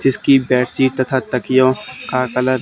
इसकी बैसी तथा तकियों का कलर --